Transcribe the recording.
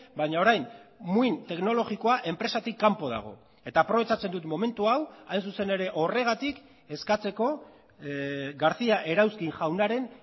baina orain muin teknologikoa enpresatik kanpo dago eta aprobetxatzen dut momentu hau hain zuzen ere horregatik eskatzeko garcía erauzkin jaunaren